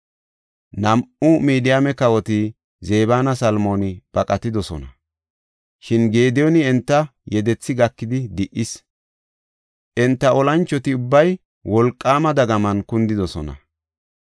Nam7u Midiyaame kawoti Zebinne Salmooni baqatidosona; shin Gediyooni enta yedethi gakidi di77is. Enta olanchoti ubbay wolqaama dagaman kundidosona.